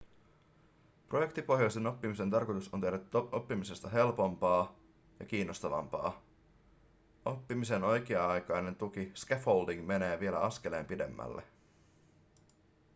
projektipohjaisen oppimisen tarkoitus on tehdä oppimisesta helpompaa ja kiinnostavampaa. oppimisen oikea-aikainen tuki scaffolding menee vielä askeleen pidemmälle